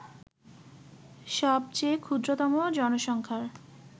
সবচেয়ে ক্ষুদ্রতম জনসংখ্যার